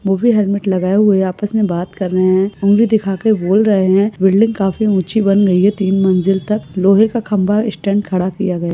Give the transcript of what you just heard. वो भी हेल्मेट लगाए हुए आपस मे बात कर रहे है उंगली दिखाके बोल रहे है बिल्डिंग काफी ऊची बन गयी है तीन मंजिल तक लोहे का खंबा स्टैंड खड़ा किया गया--